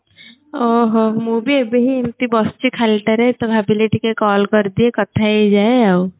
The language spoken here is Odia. ଓହୋ ମୁଁ ଭି ଏବେ ହିଁ ଏମତି ବସିଛି ଖାଲିଟାରେ ତ ଭାବିଲି ଟିକିଏ call କରିଦିଏ କଥା ହେଇଯାଏ ଆଉ